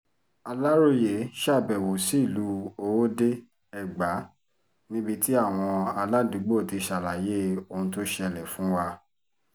aláròye ṣàbẹ̀wò sí ìlú owóde-ègbà níbi tí àwọn aládùúgbò ti ṣàlàyé ohun tó ṣẹlẹ̀ fún wa